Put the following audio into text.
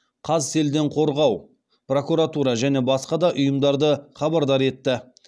қазселденқорғау прокуратура және басқа да ұйымдарды хабардар етті